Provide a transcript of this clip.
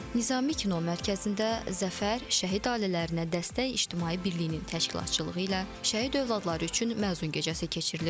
Nizami kino mərkəzində Zəfər, şəhid ailələrinə dəstək İctimai Birliyinin təşkilatçılığı ilə şəhid övladları üçün məzun gecəsi keçirilib.